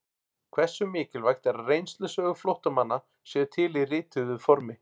Hversu mikilvægt er að reynslusögur flóttamanna séu til í rituðu formi?